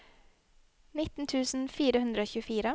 nitten tusen fire hundre og tjuefire